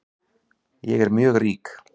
Ég er mjög rík